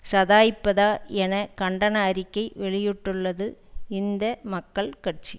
சாதய்ப்பதா என கண்டன அறிக்கை வெளியிட்டுள்ளது இந்த மக்கள கட்சி